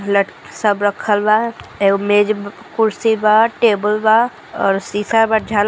हलत सब रखल बा एगो मेज ब.. कुर्सी बा टेबल बा अरु सीसा बा झाल.. --